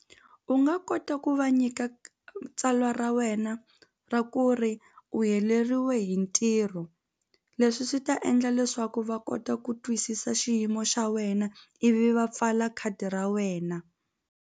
U nga kota ku va nyika tsalwa ra wena ra ku ri u heleriwe hi ntirho leswi swi ta endla leswaku va kota ku twisisa xiyimo xa wena ivi va pfala khadi ra wena.